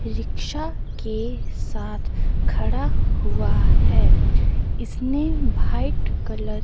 Rickshaw के साथ खड़ा हुआ है। इसने भाइट कलर --